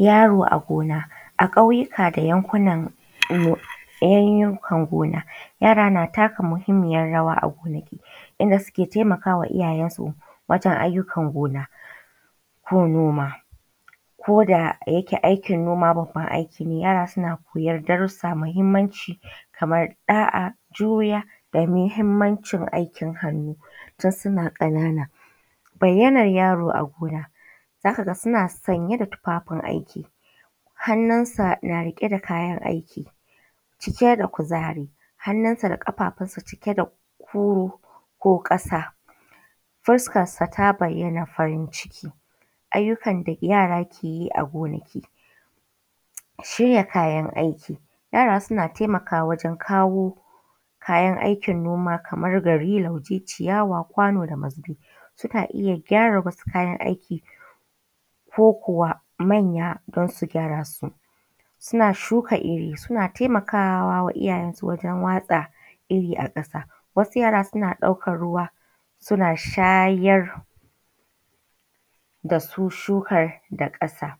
Yaro a gona a ƙauyuka da yankunan yayyukan gona yara na taka mahimmiyar rawa inda suke taimakawa iyyaen su wajen ayyukan gona ko noma. Koda yake aikin noma baban aiki ne yara suna koyar darussa mai mahimmanci kamar ɗa.a, juriya, mahimmancin aikin hannu tun suna ƙanana. Bayayyanar yaro a gona zakaga suna sanye da tufafin aiki hanunsa na riƙe da kayan aiki cike da kuzari. Ƙafafun sa cike da ƙasa, fuskan sa ta bayya na fari. Ayyukan da yara keyi a gonaki. Shirya kayan aiki yara suna taimakawa wajen kawo kayan aikin noma kamar gari, lauje, kwano, ciyawa da mazubi. Sunna iyya gyara wasu kayan aikin ko kuwa manya dansu gyarasu. Suna shuka irri, suna taimakawa wa iyyayen su wajen watsa irri a ƙasa, suna ɗaukan ruwa suna shayar dasu shukan da ƙasa.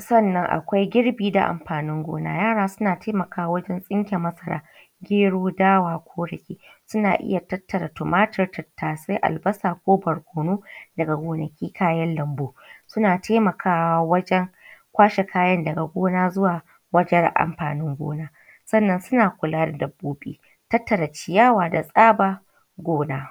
Sannan akwai girbi na amfanin gona yara suna taimakawa wajen tsince masara,, gero, dawa ko riɗi. Sunna iyya tattara tumatur, tattasai, albasa ko barkonu daga goanki kayan lambu. Suna taimakawa wajen kwashe kayan daga gona zuwa wajen amfanin gona, sannan suna kula da dabbobi tattara ciyawa da tsaba gona.